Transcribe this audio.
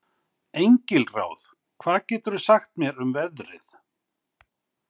Engilráð, hvað geturðu sagt mér um veðrið?